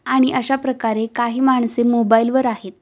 आणि अशाप्रकारे काही माणसे मोबाईल वर आहेत.